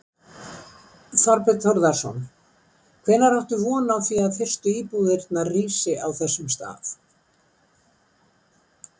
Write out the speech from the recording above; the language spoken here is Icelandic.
Þorbjörn Þórðarson: Hvenær áttu von á því að fyrstu íbúðir rísi á þessum stað?